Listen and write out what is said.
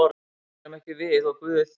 Það erum ekki við og Guð.